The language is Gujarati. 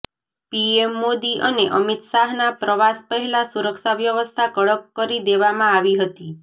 પીએમ મોદી અને અમિત શાહના પ્રવાસ પહેલા સુરક્ષા વ્યવસ્થા કડક કરી દેવામાં આવી હતી